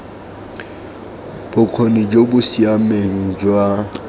bokgoni jo bo siameng jwa